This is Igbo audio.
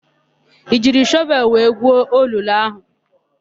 I jiri shọvelụ wee guo olulu áhụ̀?